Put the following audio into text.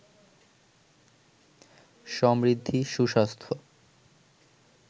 সমৃদ্ধি, সুস্বাস্থ্য